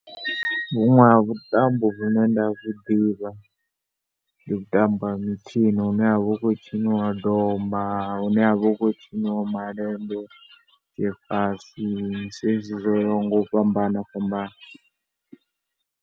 Vhuṅwe ha vhuṱambo vhune nda vhu ḓivha, ndi vhuṱambo ha mitshino hune ha vha hu khou tshiniwa domba, hune ha vha hu khou tshiniwa malende, zwifasi zwezwi zwo yaho nga u fhambana fhambana.